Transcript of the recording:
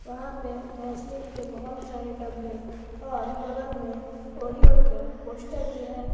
वहां पे वैसलीन के बहुत सारे डब्बे और बगल में ओरियो के पोस्टर भी है।